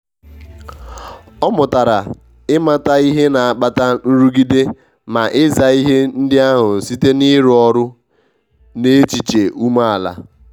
ọ mụtara ịmata ihe na akpata nrụgide ma ị za ihe ndi ahu site n'ịrụ ọrụ n'echiche ume ala.